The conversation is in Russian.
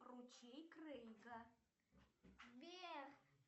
ручей крейга